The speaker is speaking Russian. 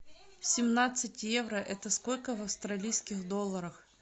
семнадцать евро это сколько в австралийских долларах